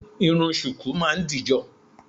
Irun ṣùkú máa ń dìjọ